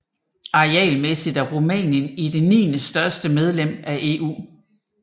Arealmæssigt er Rumænien det niendestørste medlem af EU